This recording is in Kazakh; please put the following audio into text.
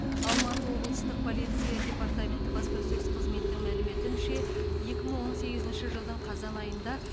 алматы облыстық полиция департаменті баспасөз қызметінің мәліметінше екі мың он сегізінші жылдың қазан айында